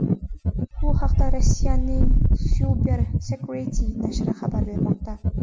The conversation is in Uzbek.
Bu haqda Rossiyaning CyberSecurity nashri xabar bermoqda.